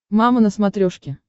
мама на смотрешке